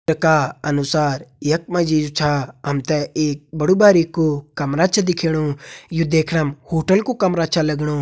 चित्र का अनुसार यख मा जी जु छा हम तें एक बड़ु बारिकु कमरा छ दिखेणु यु देखणम होटल कु कमरा छ लगणु।